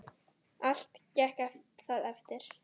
Allt gekk það eftir.